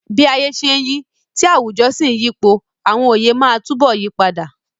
Bí ayé ṣe ń yí, tí àwùjọ sì ń yípo, àwọn oyè máa túbọ̀ yí padà.